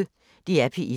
DR P1